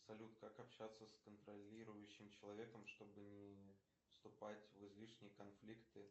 салют как общаться с контролирующим человеком чтобы не вступать в излишние конфликты